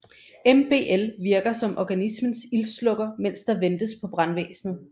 MBL virker som organismens ildslukker mens der ventes på brandvæsnet